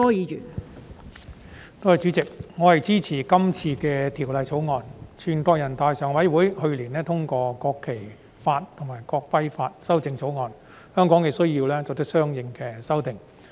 全國人民代表大會常務委員會去年通過《國旗法》及《國徽法》的修正草案，香港亦需要作出相應的修訂。